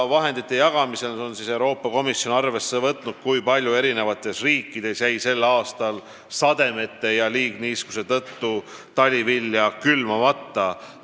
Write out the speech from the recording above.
Vahendite jagamisel on Euroopa Komisjon arvesse võtnud, kui palju jäi eri riikides sel aastal sademete ja liigniiskuse tõttu talivilja külvamata.